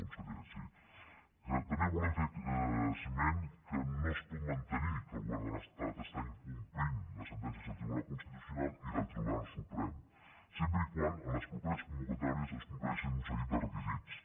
conseller sí també volem fer esment que no es pot mantenir que el govern de l’estat està incomplint les sentències del tribunal constitucional i del tribunal suprem sempre que en les properes convocatòries es compleixin un seguit de requisits